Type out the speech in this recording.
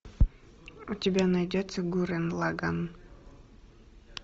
у тебя найдется гуррен лаганн